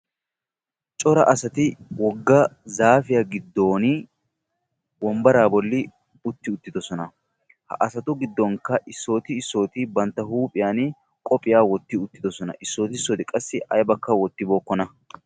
Cora asati wogga zaafiya giddooni wombbaraa bolli utti uttidosona. Ha asatu giddonkka issooti issooti bantta huuphiyan qophiya wotti uttidosona. Issooti issooti qassi aybakka wottibookkona.